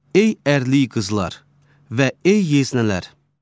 Ey ərli qızlar və ey yeznələr!